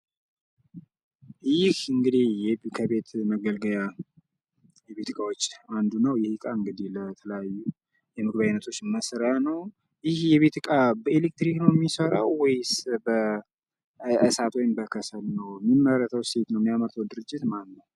ይህ እንግዲህ ከቤት እቃዎች ውስጥ አንዱ ነው ።ይህ እቃ እንግዲህ ለተለያዩ የምግብ አይነቶች መስሪያ ነው። ይህ እቃ በኤሌክትሪክ ነው ሚሰራው ወይስ በእሳት ወይም በከሰል ነው? ሚመረተውስ የት ነው? የሚያመርተው ድርጅትስማነው?